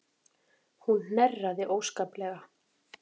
Hún hnerraði óskaplega.